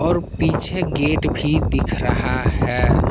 और पीछे गेट भी दिख रहा है।